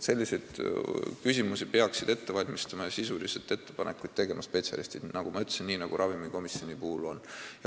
Selliseid küsimusi peaksid ette valmistama ja sisulisi ettepanekuid tegema spetsialistid, nagu ma ütlesin, nii nagu ravimikomisjonis toimub.